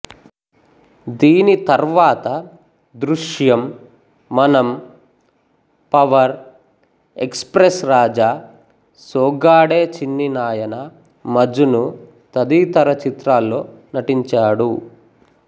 దీని తర్వాత దృశ్యం మనం Power Express Raja Soggade Chinni Nayana Majnu తదితర చిత్రాల్లో నటించాడు